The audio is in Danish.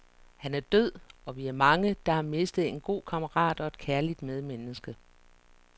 Han er død, og vi er mange, der har mistet en god kammerat og et kærligt medmenneske.